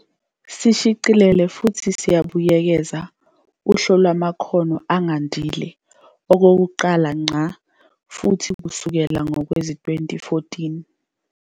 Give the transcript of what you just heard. Sishicilele futhi sabuyekeza uHlu Lwamakhono Angandile, okokuqala ngqa futhi kusukela ngowezi-2014.